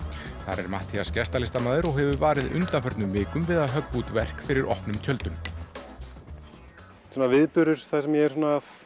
þar er Matthías gestalistamaður og hefur varið undanförnum vikum við að höggva út verk fyrir opnum tjöldum þetta er viðburður þar sem ég er að